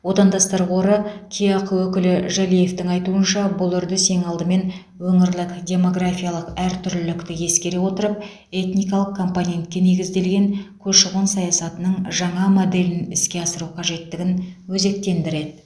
отандастар қоры кеақ өкілі жәлиевтің айтуынша бұл үрдіс ең алдымен өңірлік демографиялық әртүрлілікті ескере отырып этникалық компонентке негізделген көші қон саясатының жаңа моделін іске асыру қажеттігін өзектендіреді